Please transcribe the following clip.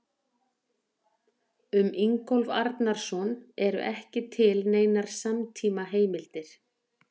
Um Ingólf Arnarson eru ekki til neinar samtímaheimildir.